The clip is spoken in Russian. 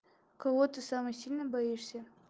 кого ты самое сильно боишься